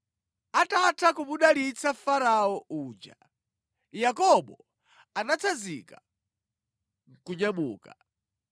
Atatha kumudalitsa Farao uja, Yakobo anatsanzika nʼkunyamuka.